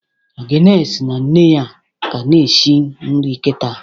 Agnes na nne ya ka na-eshi nri kịta